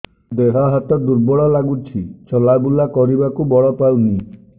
ଦେହ ହାତ ଦୁର୍ବଳ ଲାଗୁଛି ଚଲାବୁଲା କରିବାକୁ ବଳ ପାଉନି